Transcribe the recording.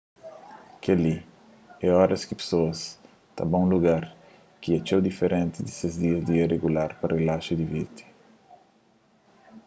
kel-li é oras ki pesoas ta ba un lugar ki é txeu diferenti di ses dia a dia rigular pa rilaxa y divirti